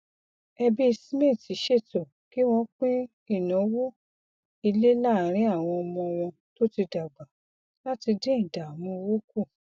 ẹbí smith ṣètò kí wọn pín ináwó ilé laarin àwọn ọmọ wọn tó ti dàgbà láti dín ìdààmú owó kù